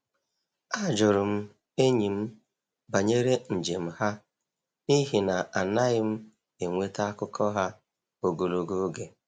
A jụrụ m enyi m banyere njem ha n’ihi na anaghị m enweta akụkọ ha ogologo oge.